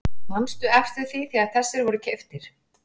Manstu eftir því þegar þessir voru keyptir?